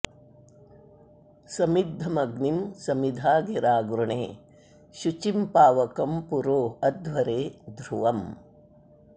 समिद्धमग्निं समिधा गिरा गृणे शुचिं पावकं पुरो अध्वरे ध्रुवम्